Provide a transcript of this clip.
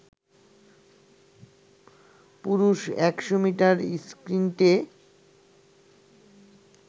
পুরুষ ১০০ মিটার স্প্রিন্টে